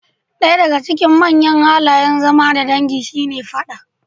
Ɗaya daga cikin manyan halayen zama da dangi shine fada.